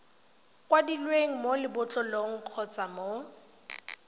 kwadilweng mo lebotlolong kgotsa mo